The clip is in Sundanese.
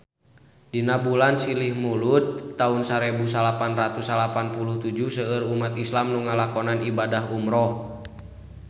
Dina bulan Silih Mulud taun sarebu salapan ratus salapan puluh tujuh seueur umat islam nu ngalakonan ibadah umrah